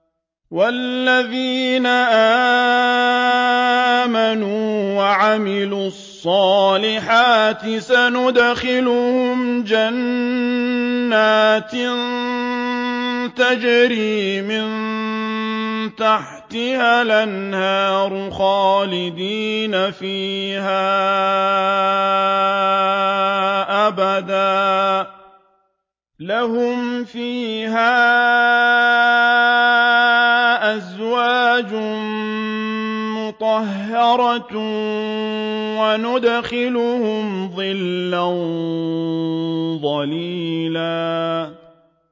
وَالَّذِينَ آمَنُوا وَعَمِلُوا الصَّالِحَاتِ سَنُدْخِلُهُمْ جَنَّاتٍ تَجْرِي مِن تَحْتِهَا الْأَنْهَارُ خَالِدِينَ فِيهَا أَبَدًا ۖ لَّهُمْ فِيهَا أَزْوَاجٌ مُّطَهَّرَةٌ ۖ وَنُدْخِلُهُمْ ظِلًّا ظَلِيلًا